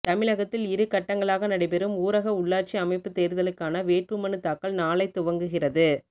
தமிழகத்தில் இரு கட்டங்களாக நடைபெறும் ஊரக உள்ளாட்சி அமைப்பு தேர்தலுக்கான வேட்புமனு தாக்கல் நாளை துவங்குகிறது